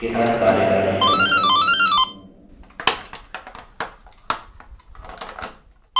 यह statements बहुत ही लाभदायक होते हैं जब ढेर सारे data के साथ कार्य कर रहे हों